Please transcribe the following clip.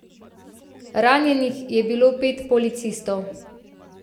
Ranjenih je bilo pet policistov.